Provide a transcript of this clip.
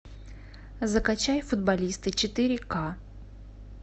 закачай футболисты четыре ка